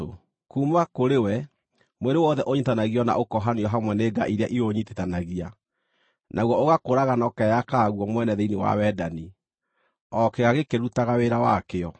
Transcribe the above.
Kuuma kũrĩ we mwĩrĩ wothe ũnyiitithanagio na ũkohanio hamwe nĩ nga iria iũnyiitithanagia, naguo ũgakũraga na ũkeyakaga guo mwene thĩinĩ wa wendani, o kĩĩga gĩkĩrutaga wĩra wakĩo.